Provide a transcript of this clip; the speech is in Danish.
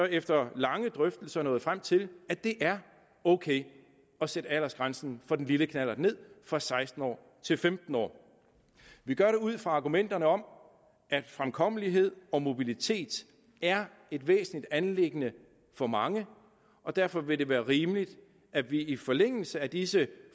efter lange drøftelser nået frem til at det er ok at sætte aldersgrænsen for den lille knallert ned fra seksten år til femten år vi gør det ud fra argumenterne om at fremkommelighed og mobilitet er et væsentligt anliggende for mange og derfor vil det være rimeligt at vi i forlængelse af disse